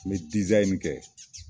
N bɛ kɛ.